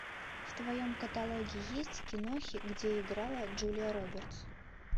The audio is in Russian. в твоем каталоге есть кинохи где играла джулия робертс